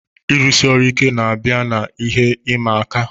Ọrụ siri ike, na-abịa na ihe ịma aka